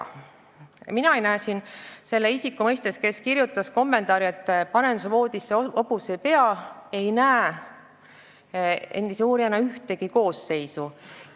Mina endise uurijana ei näe – kui rääkida sellest isikust, kes kirjutas kommentaari, et paneb voodisse hobuse pea – seal ühtegi koosseisu.